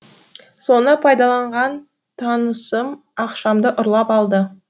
соны пайдаланған танысым ақшамды ұрлап алды